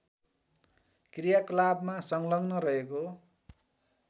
क्रियाकलापमा संलग्न रहेको